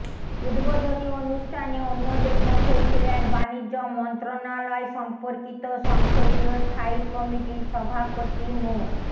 উদ্বোধনী অনুষ্ঠানে অন্যদের মধ্যে ছিলেন বাণিজ্য মন্ত্রণালয় সম্পর্কিত সংসদীয় স্থায়ী কমিটির সভাপতি মো